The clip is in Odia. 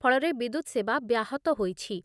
ଫଳରେ ବିଦ୍ୟୁତ୍ ସେବା ବ୍ୟାହତ ହୋଇଛି।